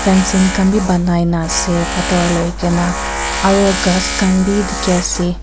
fancing khan bhi banai na ase pathor loi ke na aro ghass khan bhi dikhi ase.